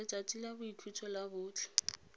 letsatsi la boikhutso la botlhe